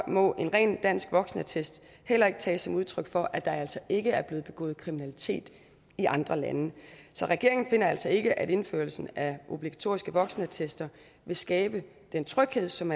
må en ren dansk voksenattest heller ikke tages som udtryk for at der altså ikke er begået kriminalitet i andre lande så regeringen finder altså ikke at indførelsen af obligatoriske voksenattester vil skabe den tryghed som